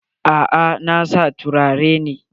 A'a, na dai sa turare ne.